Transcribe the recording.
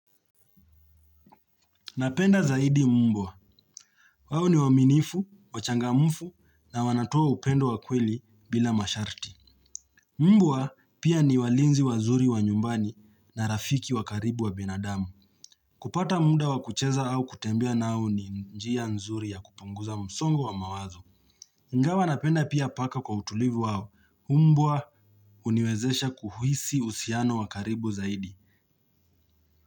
Napenda zaidi mbwa. Wao ni waaminifu, wachangamufu na wanatua upendo wa kweli bila masharti. Mbwa pia ni walinzi wa nyumbani na rafiki wa karibu wa binadamu. Kupata muda wakucheza au kutembea nao ni njia nzuri ya kupunguza msongo wa mawazo. Ingawa napenda pia paka kwa utulivu wao mbwa uniwezesha kuhisi uhusiano wa karibu zaidi.